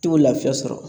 I tɛ lafiya sɔrɔ